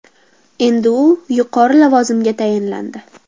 Endi u yuqori lavozimga tayinlandi.